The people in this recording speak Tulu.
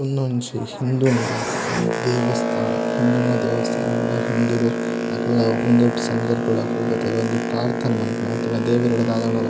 ಉಂದೊಂಜಿ ಹಿಂದುಲ್ನ ದೇವಸ್ಥಾನ ಹಿಂದುಲ್ನ ದೇವಸ್ಥಾನ ಪಂಡ ಹಿಂದುಲು ಅಕಲ್ನ ಉಂದೆಟ್ ಸಂಧರ್ಬಡ್ ಅಕುಲು ಬತ್ತ್ ಒಂಜಿ ಪ್ರಾರ್ಥನೆ ಮನ್ಪುನ ಅತ್ತುಂಡ ದೇವೆರ್ಡ ದದಾಂಡಲ--